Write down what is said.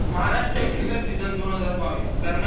Maharashtra builder season दोन हजार बावीस कर्ण